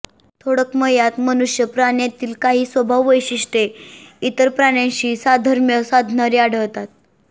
थोडक्मयात मनुष्य प्राण्यातील काही स्वभाव वैशिष्टय़े इतर प्राण्यांशी साधर्म्य साधणारी आढळतात